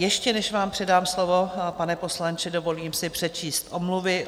Ještě než vám předám slovo, pane poslanče, dovolím si přečíst omluvy.